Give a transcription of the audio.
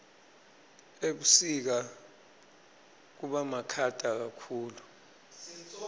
ebusika kubamakhata kakhulu